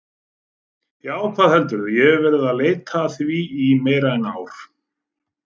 Já, hvað heldurðu, ég hef verið að leita að því í meira en ár.